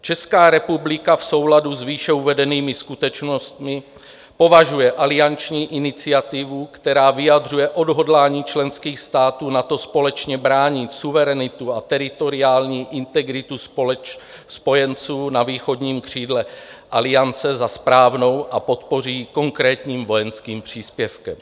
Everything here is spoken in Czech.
Česká republika v souladu s výše uvedenými skutečnostmi považuje alianční iniciativu, která vyjadřuje odhodlání členských států NATO společně bránit suverenitu a teritoriální integritu spojenců na východním křídle Aliance, za správnou a podpoří ji konkrétním vojenským příspěvkem.